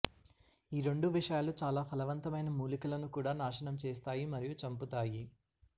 ఈ రెండు విషయాలు చాలా ఫలవంతమైన మూలికలను కూడా నాశనం చేస్తాయి మరియు చంపుతాయి